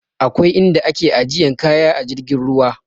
Akwai in da ake ajiyan kaya a jirgin ruwa